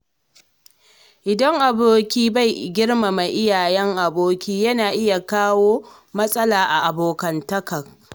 Idan aboki bai girmama iyayen aboki, yana iya kawo matsala a abokantaka.